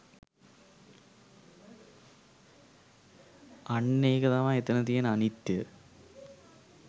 අන්න ඒක තමයි එතැන තියෙන අනිත්‍යය